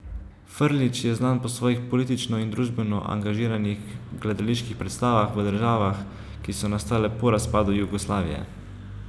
Frljić je znan po svojih politično in družbeno angažiranih gledaliških predstavah v državah, ki so nastale po razpadu Jugoslavije.